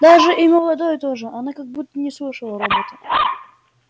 даже и молодой тоже она как будто не слышала робота